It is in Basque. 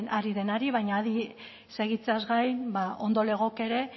ari baina adi segitzeaz gain ba ondo legoke ere